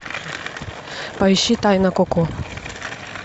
поищи тайна коко